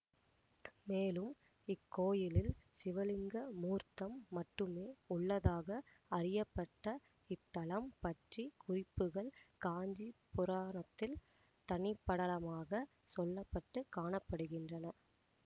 மேலும் இக்கோயிலில் சிவலிங்க மூர்த்தம் மட்டுமே உள்ளதாக அறியப்பட்ட இத்தலம் பற்றி குறிப்புகள் காஞ்சிப் புராணத்தில் தனிப்படலமாகச் சொல்ல பட்டு காண படுகின்றன